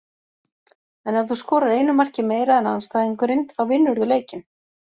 En ef þú skorar einu marki meira en andstæðingurinn þá vinnurðu leikinn.